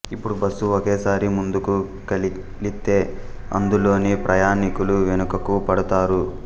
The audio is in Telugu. ఇపుడు బస్సు ఒకేసారి ముందుకు కలిలితే అందులోని ప్రయాణీకులు వెనుకకు పడతారు